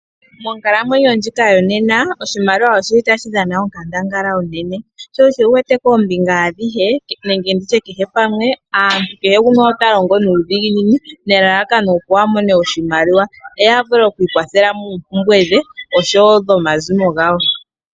Monkalamwenyo ndjika yo nena oshimaliwa oshili tashi dhana onkandangala onene ,sho osho wuwete koombinga adhihe nenge kehe pamwe aantu kehe gumwe ota longo nuudhiginini nelalakano opo amone oshimaliwa opo yavule oku ikwathele moompumbwe dhe oshowo dhomazimo gawo.